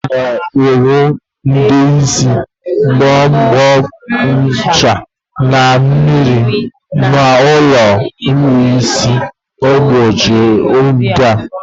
A na-ahu Ude isi, mbo, ncha na mmiri na ulo ikpu isi n'oge ndia.